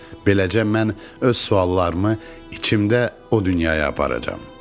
Beləcə mən öz suallarımı içimdə o dünyaya aparacam.